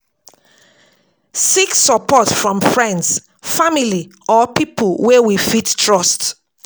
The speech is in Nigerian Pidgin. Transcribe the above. Seek support from friends, family or pipo wey we fit trust